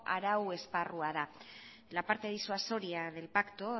arau esparrua da la parte disuasoria del pacto